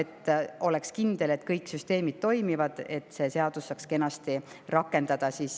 Peab olema kindel, et kõik süsteemid toimivad, et see seadus saaks kenasti rakenduda.